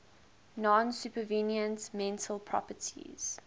non supervenient mental properties